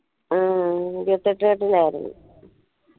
ഉം ഇരുപത്തെട്ടുകെട്ടിനായിരുന്നു